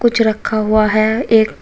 कुछ रखा हुआ है एक--